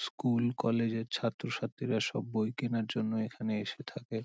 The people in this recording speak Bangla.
স্কুল কলেজ -এর ছাত্রছাত্রীরা সব বই কেনার জন্য এখানে এসে থাকে।